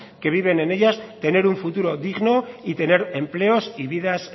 que viven en ellas tener un futuro digno y tener empleos y vidas